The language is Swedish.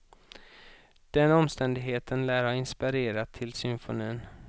Den omständigheten lär ha inspirerat till symfonin.